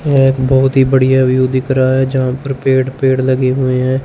यह एक बहोत ही बढ़िया व्यू दिख रहा है जहां पर पेड़ पेड़ लगे हुए है।